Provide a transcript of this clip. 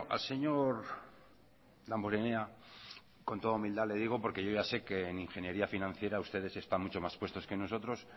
al señor damborenea con toda humildad le digo porque yo ya sé que en ingeniería financiera ustedes están mucho más puestos que nosotros